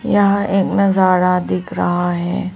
यहां एक नजारा दिख रहा है।